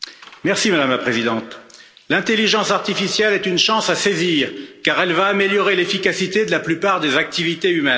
Madame la Présidente, l'intelligence artificielle est une chance à saisir car elle va améliorer l'efficacité de la plupart des activités humaines.